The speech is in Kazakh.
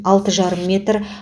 алты жарым метр